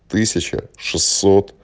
тысяча шестьсот